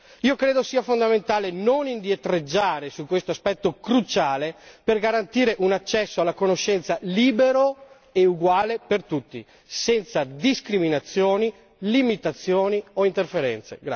Io credo sia fondamentale non indietreggiare su tale aspetto cruciale per garantire un accesso alla conoscenza libero e uguale per tutti, senza discriminazioni, limitazioni o interferenze.